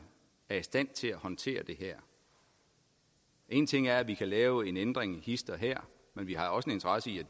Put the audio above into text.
er i stand til at håndtere det her en ting er at vi kan lave en ændring hist og her men vi har også en interesse i